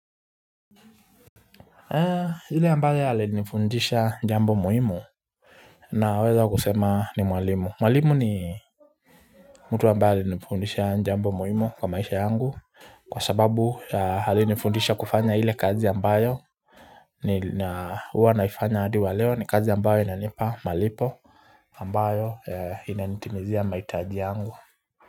Hile ambayo yali nifundisha jambo mohimu Naweza kusema ni mwalimu mwalimu ni mtu ambaye alinifundisha jambo mohimu kwa maisha yangu Kwa sababu alinifundisha kufanya hile kazi ambayo ni huwa naifanya hadi wa leo ni kazi ambayo inanipa malipo ambayo inanitimizia maitaji yangu.